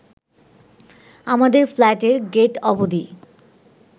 আমাদের ফ্ল্যাটের গেট অবধি